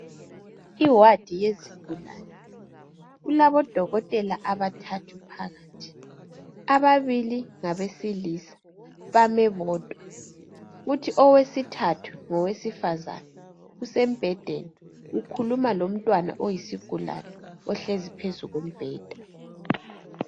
Iwadi yezigulane, kulabodokotela abathathu phakathi. Ababili ngabesilisa bame bodwa, kuthi owesithathu ngowesifazane usembhedeni ukhuluma lomntwana oyisigulane ohkezi phezu kombheda.